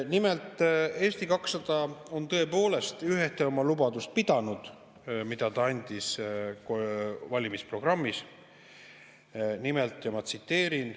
Nimelt on Eesti 200 tõepoolest ühte oma valimisprogrammis antud lubadust pidanud.